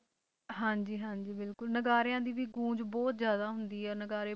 ਹਾਂਜੀ ਹਾਂਜੀ ਬਿਲਕੁਲ ਨਗਾਰਿਆਂ ਦੀ ਵੀ ਗੂੰਜ ਬਹੁਤ ਜ਼ਿਆਦਾ ਹੁੰਦੀ ਹੈ ਨਗਾਰੇ,